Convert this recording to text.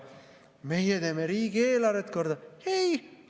Meie teeme riigieelarvet korda!